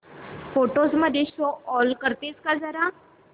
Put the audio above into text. photos मध्ये show all करतेस का जरा